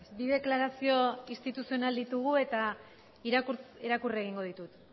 bi deklarazio instituzional ditugu eta irakurri egingo ditut